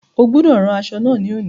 O gbọ́dọ̀ rán aṣọ náà ní òní.